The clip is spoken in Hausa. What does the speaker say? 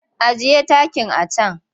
Ajiye takin a can!